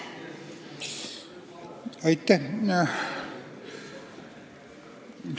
Aitäh!